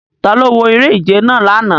Talo wo ere-ije nàa làná